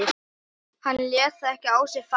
Hann lét það ekki á sig fá.